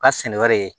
Ka sɛnɛ wɛrɛ ye